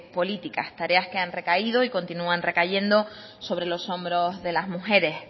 políticas tareas que han recaído y continúan recayendo sobre los hombros de las mujeres